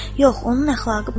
Yox, onun əxlaqı pozulmuşdur.